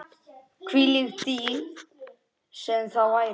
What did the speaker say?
Hvílík dýpt sem það væri.